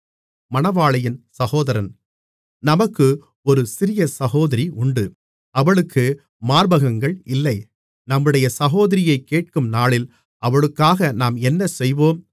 நமக்கு ஒரு சிறிய சகோதரி உண்டு அவளுக்கு மார்பகங்கள் இல்லை நம்முடைய சகோதரியைக் கேட்கும் நாளில் அவளுக்காக நாம் என்ன செய்வோம்